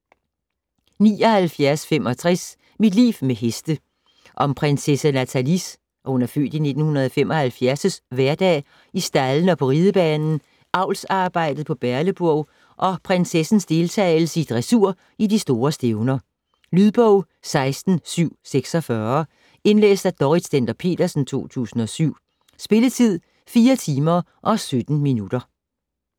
79.65 Mit liv med heste Om prinsesse Nathalies (f. 1975) hverdag i staldene og på ridebanen, avlsarbejdet på Berleburg og prinsessens deltagelse i dressur i de store stævner. Lydbog 16746 Indlæst af Dorrit Stender-Petersen, 2007. Spilletid: 4 timer, 17 minutter.